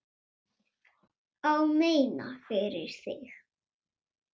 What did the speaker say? Ég meina, fyrir þig.